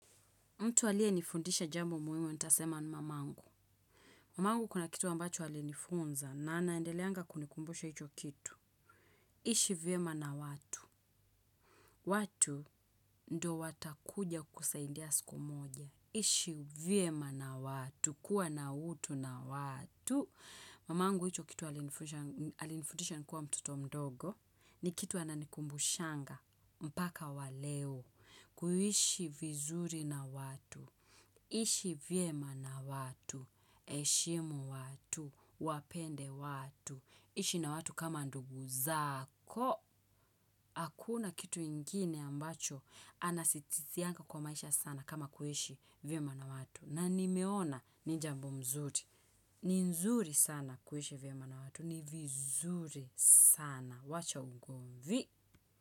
Mtu aliye nifundisha jambo muhimu, nitasema ni mamangu. Mamangu kuna kitu ambacho alinifunza na anaendeleanga kunikumbusha hicho kitu. Ishi vyema na watu. Watu ndo watakuja kukusaidia siku moja. Ishi vyema na watu, kuwa na utu na watu. Mamangu hicho kitu alinifundisha nikuwa mtoto mdogo. Ni kitu ananikumbushanga mpaka wa leo. Kuishi vizuri na watu. Ishi vyema na watu, heshimu watu, wapende watu, ishi na watu kama ndugu zako, hakuna kitu ingine ambacho anasisitizianga kwa maisha sana kama kuishi vyema na watu. Na nimeona ni jambo mzuri, ni nzuri sana kuishi vyema na watu, ni vizuri sana, wacha ugomvi.